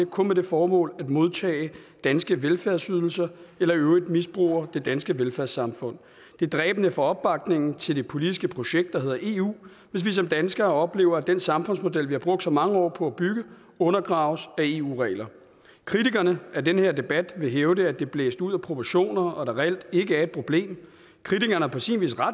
kun med det formål at modtage danske velfærdsydelser eller i øvrigt misbruger det danske velfærdssamfund det er dræbende for opbakningen til det politiske projekt der hedder eu hvis vi som danskere oplever at den samfundsmodel vi har brugt så mange år på at bygge undergraves af eu regler kritikerne af den her debat vil hævde at det er blæst ud af proportioner og at der reelt ikke er et problem kritikerne har på sin vis ret